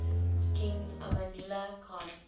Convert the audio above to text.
king amanullah khan